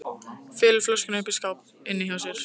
Felur flöskuna uppi í skáp inni hjá sér.